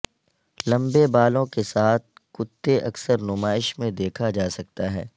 لمبے بالوں کے ساتھ کتے اکثر نمائش میں دیکھا جا سکتا ہے